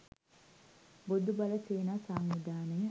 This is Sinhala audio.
බොදුබල සේනා සංවිධානය